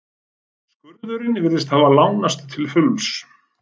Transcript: Skurðurinn virtist hafa lánast til fulls.